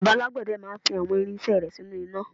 bàbá alágbède máà ń fi àwọn irinṣẹ́ rẹ̀ sínú iná